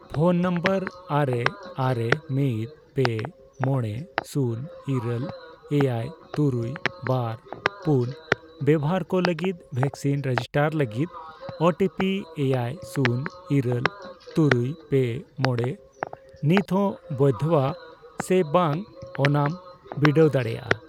Phone number ᱟᱨᱮ, ᱟᱨᱮ, ᱢᱤᱫ, ᱯᱮ, ᱢᱚᱬᱮ, ᱥᱩᱱ, ᱤᱨᱟᱹᱞ, ᱮᱭᱟᱭ, ᱛᱩᱨᱩᱭ, ᱵᱟᱨ, ᱯᱩᱱ ᱵᱮᱵᱚᱦᱟᱨ ᱠᱚ ᱞᱟᱹᱜᱤᱫ ᱵᱷᱮᱠᱥᱤᱱ ᱨᱮᱡᱤᱥᱴᱟᱨ ᱞᱟᱹᱜᱤᱫ ᱳ ᱴᱤ ᱯᱤ ᱼᱮᱭᱟᱭ, ᱥᱩᱱ, ᱤᱨᱟᱹᱞ, ᱛᱩᱨᱩᱭ, ᱯᱮ, ᱢᱚᱬᱮ ᱱᱤᱛ ᱦᱚ ᱵᱚᱭᱫᱷᱚᱣᱟ ᱥᱮ ᱵᱟᱝ ᱚᱱᱟᱢ ᱵᱤᱰᱟᱹᱣ ᱫᱟᱲᱤᱭᱟᱜᱼᱟ ?